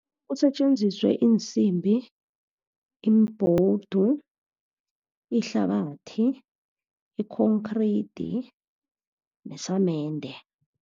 Kusetjenziswe iinsimbi imibhowudu, ihlabathi, i-concrete nesamende.